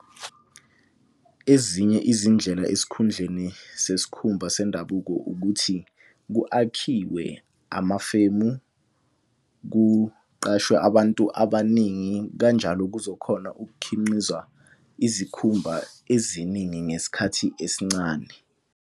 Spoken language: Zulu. Ezinye izindlela esikhundleni sesikhumba sendabuko ukuthi ku-akhiwe amafemu, kuqashwe abantu abaningi kanjalo kuzokhona ukukhinqiza izikhumba eziningi ngesikhathi esincane.